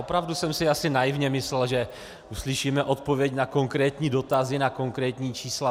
Opravdu jsem si asi naivně myslel, že uslyšíme odpověď na konkrétní dotazy, na konkrétní čísla.